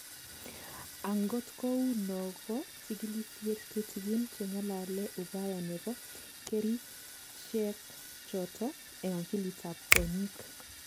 Angot kou no ko chikilisyet tutigin che ng'alale ubaya nebo kerichekchoto eng akilit ab kwonyik